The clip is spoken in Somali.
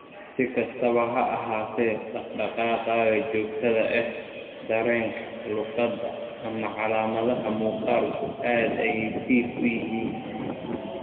Si kastaba ha ahaatee, dhaqdhaqaaqa joogtada ah, dareenka, luqadda, ama calaamadaha muuqaalku aad ayay dhif u yihiin.